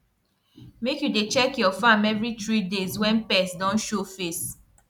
make you dey check your farm every three days when pest don show face